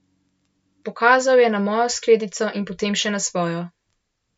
Pokazal je na mojo skledico in potem še na svojo.